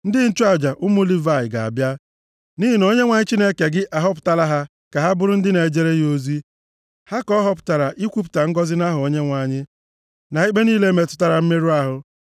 Ndị nchụaja, ụmụ Livayị, ga-abịa, nʼihi na Onyenwe anyị Chineke gị ahọpụtala ha ka ha bụrụ ndị na-ejere ya ozi. Ha ka ọ họpụtakwara ikwupụta ngọzị nʼaha Onyenwe anyị, na ikpe niile metụtara mmerụ ahụ.